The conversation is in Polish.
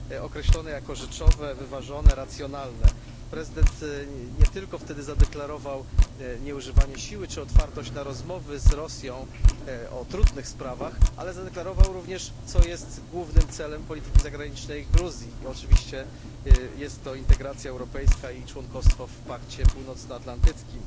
określone jako rzeczowe, wyważone, racjonalne. Prezydent wówczas nie tylko zadeklarował nieużywanie siły czy otwartość na rozmowy z Rosją o trudnych sprawach, ale zadeklarował również, co jest głównym celem polityki zagranicznej Gruzji i oczywiście jest to integracja europejska i członkostwo w Pakcie Północnoatlantyckim.